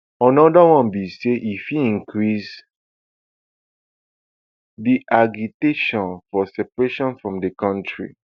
anoda one be say e fit increase di agitation for separation from di kontri